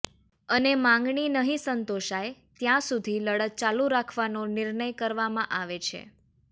અને માંગણી નહિ સંતોષાય ત્યાં સુધી લડત ચાલુ રાખવાનો નિર્ણય કરવામાં આવે છે